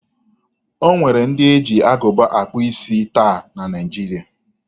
O nwere ndị ji agụba akpụ isi taa na Naịjiria.